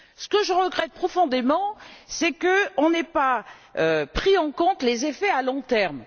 Ce que je regrette profondément, c'est qu'on n'ait pas pris en compte les effets à long terme.